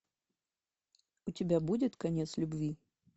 у тебя будет конец любви